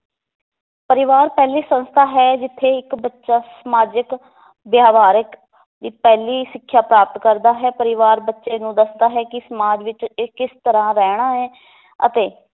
ਪਰਿਵਾਰ ਪਹਿਲੀ ਸੰਸਥਾ ਹੈ ਜਿੱਥੇ ਇੱਕ ਬੱਚਾ ਸਮਾਜਿਕ ਵਿਵਹਾਰਿਕ ਦੀ ਪਹਿਲੀ ਸਿੱਖਿਆ ਪ੍ਰਾਪਤ ਕਰਦਾ ਹੈ ਪਰਿਵਾਰ ਬੱਚੇ ਨੂੰ ਦੱਸਦਾ ਹੈ ਕਿ ਸਮਾਜ ਵਿਚ ਇਹ ਕਿਸ ਤਰਾਂ ਰਹਿਣਾ ਹੈ ਅਤੇ